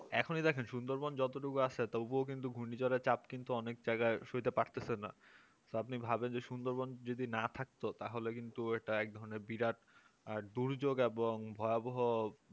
এখনই দেখেন সুন্দরবন যতটুকু আছে তবুও কিন্তু ঘূর্ণিঝড় এর চাপ কিন্তু অনেক জায়গায় সইতে পারতেছে না তো আপনি ভাবেন যে সুন্দর যদি না থাকতো তাহলে কিন্তু এটা একধরনের বিরাট দুর্যোগ এবং ভয়াবহ